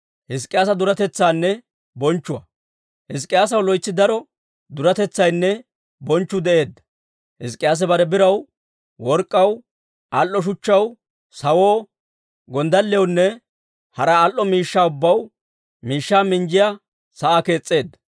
Hizk'k'iyaasaw loytsi daro duretetsaynne bonchchu de'eedda; Hizk'k'iyaase bare biraw, work'k'aw, al"o shuchchaw, sawoo, gonddalliyawunne hara al"o miishshaa ubbaw miishshaa minjjiyaa sa'aa kees's'eedda.